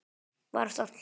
var á stall.